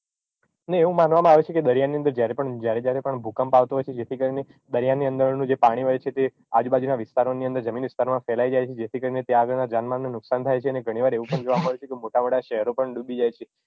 અને એવું માનવામાં આવે છે કે દરિયાની અંદર જયારે જયારે પણ ભૂકંપ આવતો હોય છે જેથી કરીને દરિયાની અંદરનું જે પાણી હોય છે તે આજુબાજુનાં વિસ્તારોની અંદર જમીન વિસ્તારમાં ફેલાઈ જાય છે જેથી કરીને ત્યાં આગળનાં જાનમાલનું નુકશાન થાય છે અને ઘણી વાર એવું પણ જોવા મળે છે કે મોટા મોટા શહેરો પણ ડૂબી જાય છે